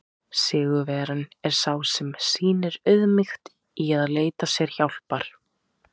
Sigurvegarinn er sá sem sýnir auðmýkt í að leita sér hjálpar!